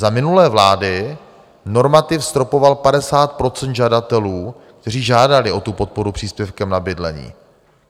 Za minulé vlády normativ stropoval 50 % žadatelů, kteří žádali o podporu příspěvkem na bydlení.